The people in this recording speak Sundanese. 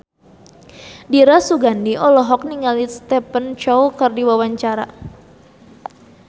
Dira Sugandi olohok ningali Stephen Chow keur diwawancara